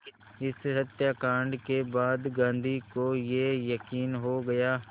इस हत्याकांड के बाद गांधी को ये यक़ीन हो गया